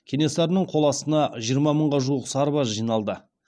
кенесарының қол астына жиырма мыңға жуық сарбаз жиналды